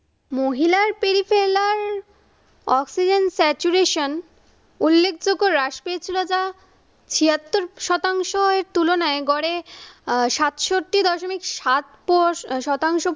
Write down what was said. মহিলার ফেরিপেল্লার oxygen saturation উল্লেখযোগ্য হ্রাস পেয়েছিল যা ছিয়াত্তর শতাংশের তুলনায় গড়ে আহ সাতষট্টি দশমিক সাত পস শতাংশ